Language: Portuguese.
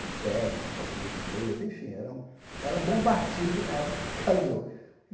com ternos e casemira inglesa, enfim, era um era um bom partido na época que casou.